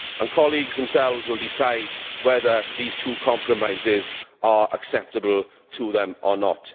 Colleagues themselves will decide whether these two compromises are acceptable to them or not.